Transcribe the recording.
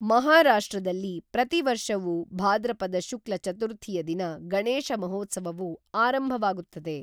ಮಹಾರಾಷ್ಟ್ರದಲ್ಲಿ ಪ್ರತಿವರ್ಷವೂ ಭಾದ್ರಪದ ಶುಕ್ಲ ಚತುರ್ಥಿಯದಿನ ಗಣೇಶ ಮಹೋತ್ಸವವು ಆರಂಭವಾಗುತ್ತದೆ